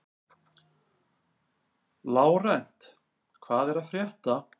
Lárent, hvað er að frétta?